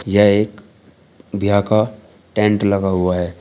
यह एक ब्याह का टेंट लगा हुआ है।